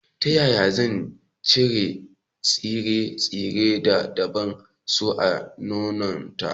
Ta ƴaƴa zan chire tsire-tsire da ba a so a gonata?